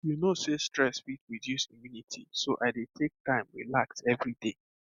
you know sey stress fit reduce immunity so i dey take time relax every day